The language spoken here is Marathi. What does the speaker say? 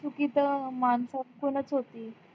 चुकी तर माणसांकडून च होती